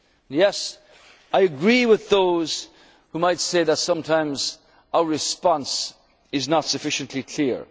of Europe. Yes, I agree with those who might say that sometimes our response is not sufficiently